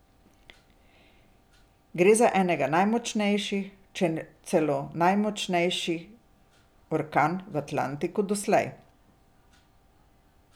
Gre za enega najmočnejših, če ne celo najmočnejši orkan v Atlantiku doslej.